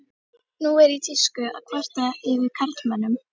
Nú er í tísku að kvarta yfir karlmönnum.